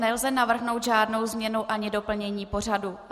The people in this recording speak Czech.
Nelze navrhnout žádnou změnu ani doplnění pořadu.